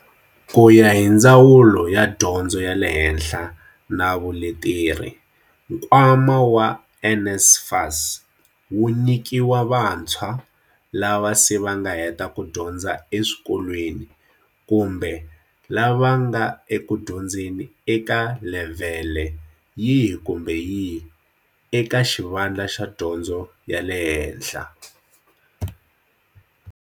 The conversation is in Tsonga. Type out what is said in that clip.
Ku ya hi Ndzawulo ya Dyondzo ya le Henhla na Vuleteri, nkwama wa NSFAS wu nyikiwa vantshwa lava se va nga heta ku dyondza eswikolweni kumbe lava va nga ekudyondzeni eka levhele yihi kumbe yihi eka xivandla xa dyondzo ya le hehla.